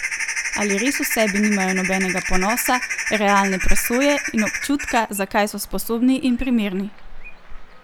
Ali res v sebi nimajo nobenega ponosa, realne presoje in občutka, za kaj so sposobni in primerni?